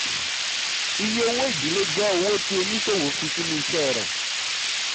iye owó-ìdílé jẹ́ owó tí oníṣòwò fi sínú iṣẹ́ rẹ̀.